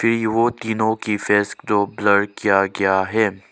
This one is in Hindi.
ये वो तीनों की फेस जो ब्लर किया गया है।